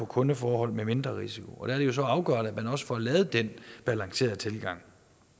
kundeforhold med mindre risiko og der er det jo så afgørende at man også får lavet den balancerede tilgang